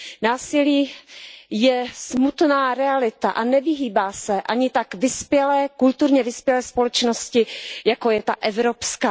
Násilí je smutná realita a nevyhýbá se ani tak kulturně vyspělé společnosti, jako je ta evropská.